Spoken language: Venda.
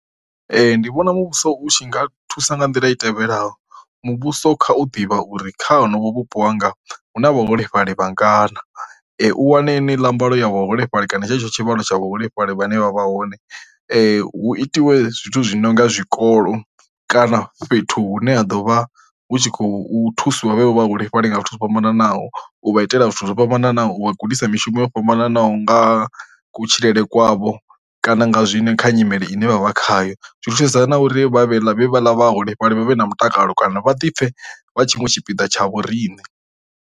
Ndi vhona muvhuso u tshi nga thusa nga nḓila i tevhelaho muvhuso kha u ḓivha uri kha honovho vhupo hanga hu na vhaholefhali vhangana, u wane heneiḽa mbalo ya vhaholefhali kana tshetsho tshivhalo tsha vhaholefhali vha ne vha vha hone hu itiwe zwithu zwi nonga zwikolo kana fhethu hune ha ḓovha hu tshi khou thusiwa vho vha vha holefhali nga zwithu zwo fhambananaho, u vha itela zwithu zwo fhambananaho u vha gudisa mishumo yo fhambananaho nga kutshilele kwavho kana nga zwine kha nyimele ine vha vha khayo. zwi na uri vha vhe vha ḽa vhaholefhali vhavhe na mutakalo kana vha ḓi pfe vha tshiṅwe tshipiḓa tsha vho riṋe.